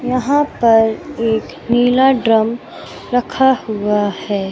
यहां पर एक नीला ड्रम रखा हुआ है।